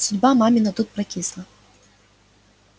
судьба мамина тут прокисла